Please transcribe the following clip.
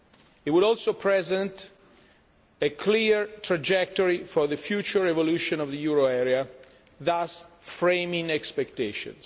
It would also present a clear trajectory for the future evolution of the euro area, thus framing expectations.